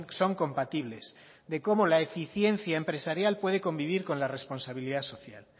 son compatibles de cómo la eficiencia empresarial puede convivir con la responsabilidad social